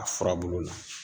A furabulu la